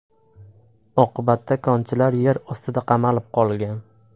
Oqibatda konchilar yer ostida qamalib qolgan.